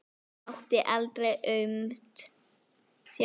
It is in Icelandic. Hún mátti aldrei aumt sjá.